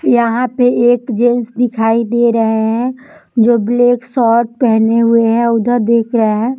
यहाँ पे एक जेन्ट्स दिखाई दे रहे है जो ब्लैक शॉट पहने हुए है उधर देख रहे है।